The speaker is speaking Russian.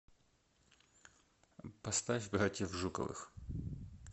поставь братьев жуковых